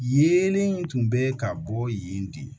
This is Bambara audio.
Yeelen in tun bɛ ka bɔ yen de